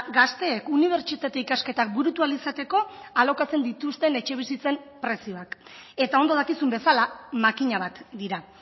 gazteek unibertsitate ikasketak burutu ahal izateko alokatzen dituzten etxebizitzen prezioak eta ondo dakizun bezala makina bat dira